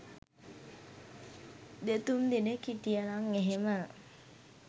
දෙතුන් දෙනෙක් හිටියනං එහෙම